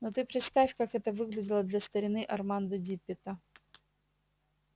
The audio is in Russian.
но ты представь как это выглядело для старины армандо диппета